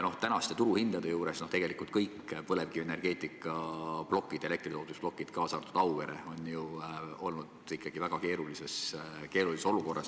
Tänaste turuhindade juures on tegelikult kõik põlevkivienergeetikaplokid, elektritootmisplokid, kaasa arvatud Auveres, ju olnud ikkagi väga keerulises olukorras.